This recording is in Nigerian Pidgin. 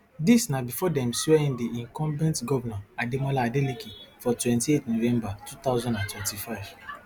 dis na before dem swear in di incumbent govnor ademola adeleke for twenty-eight november two thousand and twenty-five